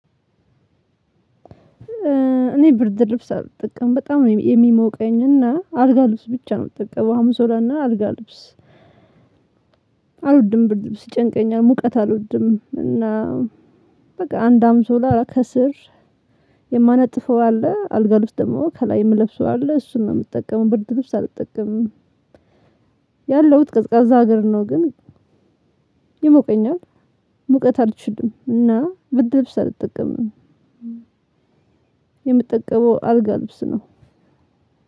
እኔ ብርድ ልብስ አልጠቀምም በጣም ነው የሚሞቀኝ እና አልጋ ልብስ ብቻ ነው የምጠቀመው ሀንሶላና አልጋ ልብስ አልወድም ብር ልብስ ይጨንቀኛል። ሙቀት አልወድም። እና በቃ አንድ አንሶላ ከስር የማነጥፈው አለ አልጋ ውስጥ ደግሞ ከላይ የምለብሰው አለ እሱን ነው የምትጠቀመው ብርድ ልብስ አልጠቀምም። ያለሁት ቀዝቃዛ ሀገር ነው። ግን ይሞቀኛል። ሙቀት አልችልም እና ብርድ ልብስ አልጠቀምም። የምጠቀመው አልጋ ልብስ ነው።